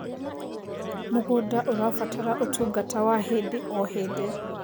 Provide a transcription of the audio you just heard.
Mũgũnda ũrabatara ũtũngata wa hĩndĩ o hĩndĩ